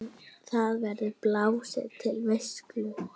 Þar verður blásið til veislu.